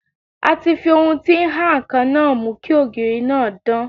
A ti fi ohun tí ń ha ǹkan náà mú kí ògiri náà dán.